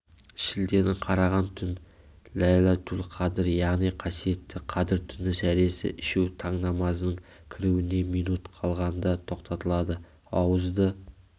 шілденің қараған түн ләйләтул-қадр яғни қасиетті қадір түні сәресі ішу таң намазының кіруіне минут қалғандатоқтатылады ауызды